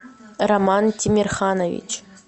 роман тимерханович